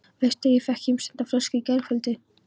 Veistu að ég fékk heimsenda flösku í gærkvöldi?